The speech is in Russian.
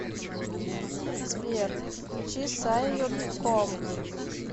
сбер включи саййод ком